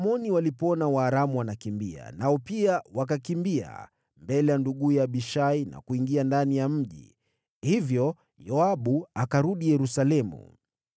Waamoni walipoona Waaramu wanakimbia, nao pia wakakimbia mbele ya nduguye Abishai na kuingia ndani ya mji. Basi Yoabu akarudi Yerusalemu.